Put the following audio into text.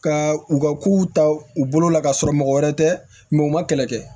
Ka u ka kow ta u bolo la ka sɔrɔ mɔgɔ wɛrɛ tɛ u ma kɛlɛ kɛ